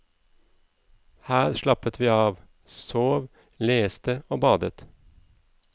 Her slappet vi av, sov, leste og badet.